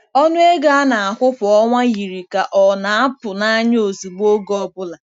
Ọnụ ego a na-akwụ kwa ọnwa yiri ka ọ na-apụ nanya ozugbo oge ọ bụla.